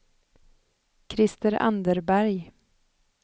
Krister Anderberg